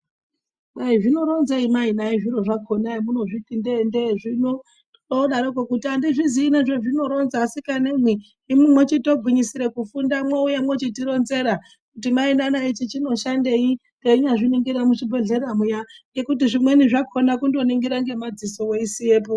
Kwai zvino ronzei mai nhai zviro zvakona emunozviti ndende zvino odaroko andizvizi nezve zvino ronza asikana imwi imwimwi mochito gwinyisire kufunda mwo uya mochiti ronzera mai nana ichi chino shandei teinya zviningira mu chibhedhlera muya ngekuti zvimweni zvakona kundo ningira nge madziso wei siyepo.